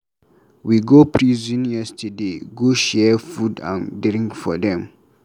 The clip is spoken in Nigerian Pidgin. We go prison yesterday go share food and drink for dem.